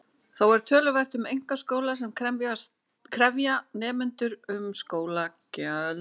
Þó er töluvert um einkaskóla sem krefja nemendur um skólagjöld.